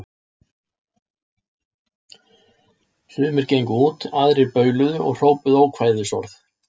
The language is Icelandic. Sumir gengu út, aðrir bauluðu og hrópuðu ókvæðisorð.